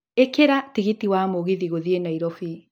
ĩkira tigiti wa mũgithi gũthiĩ nairobi